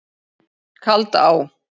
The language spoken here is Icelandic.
Kaldá